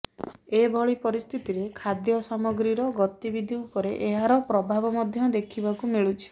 ଏଭଳି ପରିସ୍ଥିତିରେ ଖାଦ୍ୟ ସାମଗ୍ରୀର ଗତିବିଧି ଉପରେ ଏହାର ପ୍ରଭାବ ମଧ୍ୟ ଦେଖିବାକୁ ମିଳୁଛି